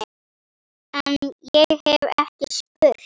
En- ég hef ekki spurt.